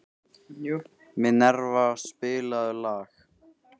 Minerva, spilaðu lag.